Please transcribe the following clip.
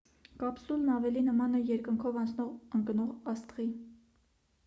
կապսուլն ավելի նման է երկնքով անցնող ընկնող աստղի